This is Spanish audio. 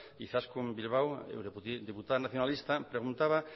izaskun bilbao diputada nacionalista preguntaba